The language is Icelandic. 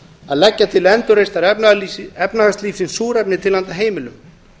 að leggja til endurreisnar efnahagslífsins súrefni til handa heimilum